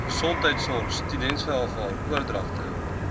gesondheidsorg steundienstewaarvan oordragte